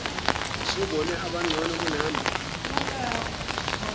usubone abangcono kunami